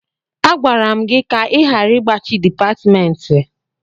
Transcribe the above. Agwara m gị ka ị ghara igbachi dipatịmentị.